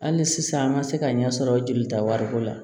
Hali sisan an ma se ka ɲɛ sɔrɔ jolita wariko la